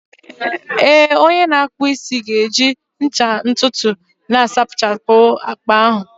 Ee, onye na-akpụ isi ga-eji ncha ntutu na-asachapụ agba ahụ